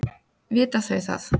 Vita þau það?